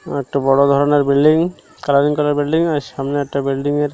আর একটা বড় ধরনের বিল্ডিং কালারিং করা বিল্ডিং আর সামনে একটা বিল্ডিং -এর--